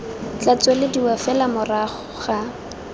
tla tswelediwa fela morago ga